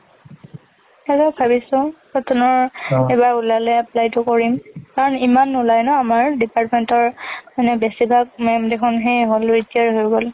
এবাৰ ভাবিছো যে কটনৰ এইবাৰ ওলালে apply টো কৰিম কাৰণ ইমান নোলাই না আমাৰ department তৰ, মানে বেচিভাগ ma'am দেশোন সেই হল, retire হৈ গল।